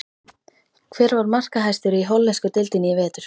Hver var markahæstur í hollensku deildinni í vetur?